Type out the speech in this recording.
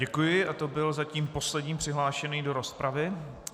Děkuji a to byl zatím poslední přihlášený do rozpravy.